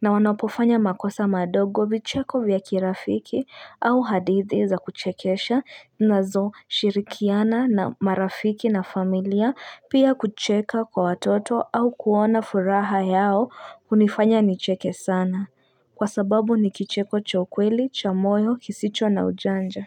na wanapofanya makosa madogo vicheko vya kirafiki au hadithi za kuchekesha nazo shirikiana na marafiki na familia pia kucheka kwa watoto au kuona furaha yao unifanya ni cheke sana Kwa sababu ni kicheko cho kweli, chamoyo, kisicho na ujanja.